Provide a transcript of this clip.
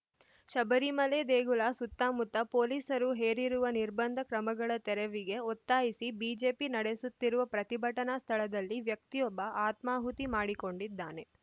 ಶಬರಿಮಲೆ ದೇಗುಲ ಸುತ್ತಮುತ್ತ ಪೊಲೀಸರು ಹೇರಿರುವ ನಿರ್ಬಂಧ ಕ್ರಮಗಳ ತೆರವಿಗೆ ಒತ್ತಾಯಿಸಿ ಬಿಜೆಪಿ ನಡೆಸುತ್ತಿರುವ ಪ್ರತಿಭಟನಾ ಸ್ಥಳದಲ್ಲಿ ವ್ಯಕ್ತಿಯೊಬ್ಬ ಆತ್ಮಾಹುತಿ ಮಾಡಿಕೊಂಡಿದ್ದಾನೆ